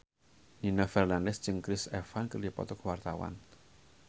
Nino Fernandez jeung Chris Evans keur dipoto ku wartawan